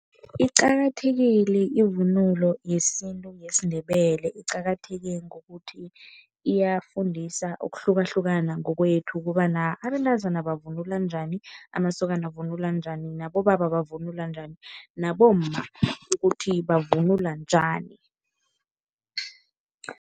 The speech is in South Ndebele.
Iqakathekile ivunulo yesintu yesiNdebele. Iqakatheke ngokuthi iyafundisana ukuhlukahlukana ngokwethu ukobana abentazana bavunula njani, amasokana avunula njani nabobaba bavunula njani, nabomma ukuthi bavunula njani.